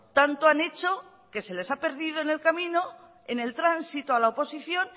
tanto han hecho que se les ha perdido en el camino en el tránsito a la oposición